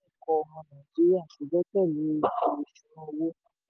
nítorí àìtó ẹ̀kọ́ ọmọ nàìjíríà kò gbẹ́kẹ̀lé ètò ìṣúnná owó.